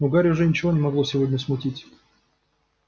но гарри уже ничего не могло сегодня смутить